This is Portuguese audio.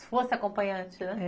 Se fosse acompanhante, né?